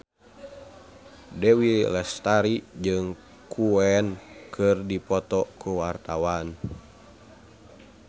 Dewi Lestari jeung Queen keur dipoto ku wartawan